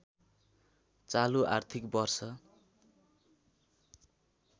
चालु आर्थिक वर्ष